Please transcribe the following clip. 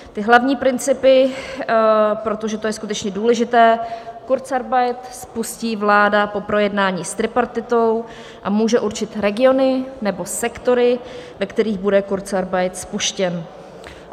Ty hlavní principy, protože to je skutečně důležité, kurzarbeit spustí vláda po projednání s tripartitou a může určit regiony nebo sektory, ve kterých bude kurzarbeit spuštěn.